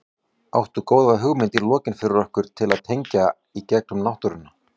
Áttu góða hugmynd í lokin fyrir okkur til að tengja í gegnum náttúruna?